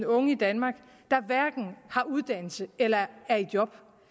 unge i danmark der hverken har uddannelse eller er i job